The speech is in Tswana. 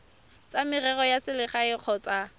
tsa merero ya selegae kgotsa